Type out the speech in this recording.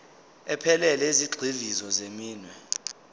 ephelele yezigxivizo zeminwe